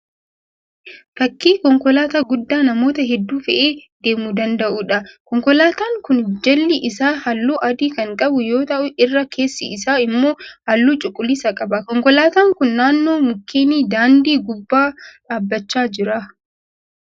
Fakkii konkolaataa guddaa namoota hedduu fe'ee deemuu danda'uudha. Konkolaataan kun jalli isaa halluu adii kan qabu yoo ta'u irra keessi isaa immoo halluu cuquliisa qaba. Konkolaataan kun naannoo mukeenii daandii gubbaa dhaabbachaa jira.